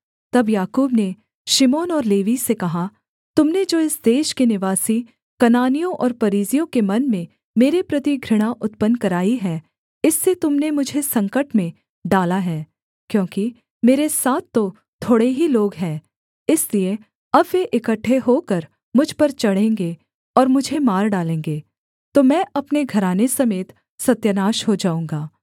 तब याकूब ने शिमोन और लेवी से कहा तुम ने जो इस देश के निवासी कनानियों और परिज्जियों के मन में मेरे प्रति घृणा उत्पन्न कराई है इससे तुम ने मुझे संकट में डाला है क्योंकि मेरे साथ तो थोड़े ही लोग हैं इसलिए अब वे इकट्ठे होकर मुझ पर चढ़ेंगे और मुझे मार डालेंगे तो मैं अपने घराने समेत सत्यानाश हो जाऊँगा